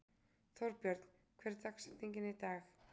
Þórbjörn, hver er dagsetningin í dag?